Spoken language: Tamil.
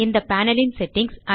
இந்த பேனல் ன் செட்டிங்ஸ்